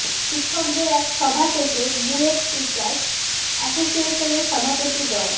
শিক্ষকদের এক সভা শেষে বুয়েট টিচার্স অ্যাসোসিয়েশনের সভাপতি ড